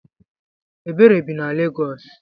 Ebere bi na Legos.